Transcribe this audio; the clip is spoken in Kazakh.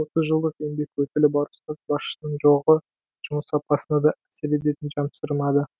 отыз жылдық еңбек өтілі бар ұстаз басшының жоғы жұмыс сапасына да әсер ететінін жасырмады